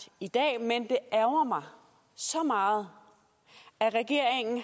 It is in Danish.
i dag men det ærgrer mig så meget at regeringen